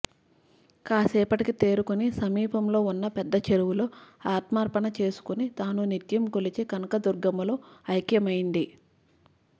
కాసేపటికి తేరుకుని సమీపంలో ఉన్న పెద్దచెరువులో ఆత్మార్పణ చేసుకుని తాను నిత్యం కొలిచే కనకదుర్గమ్మలో ఐక్యమైంది